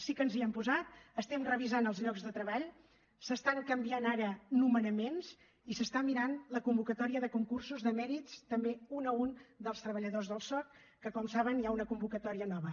sí que ens hi hem posat estem revisant els llocs de treball s’estan canviant ara nomenaments i s’està mirant la convocatòria de concursos de mèrits també un a un dels treballadors del soc que com saben hi ha una convocatòria nova